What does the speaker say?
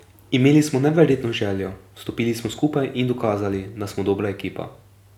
Imeli smo neverjetno željo, stopili smo skupaj in dokazali, da smo dobra ekipa.